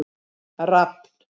Rafn